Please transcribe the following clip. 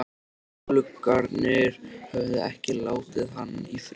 Gluggarnir höfðu ekki látið hann í friði.